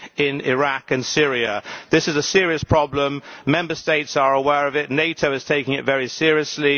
in Iraq and Syria. This is a serious problem. Member States are aware of it and NATO is taking it very seriously.